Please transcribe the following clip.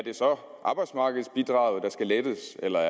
arbejdsmarkedsbidraget der skal lettes eller